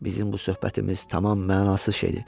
Bizim bu söhbətimiz tamam mənasız şeydir.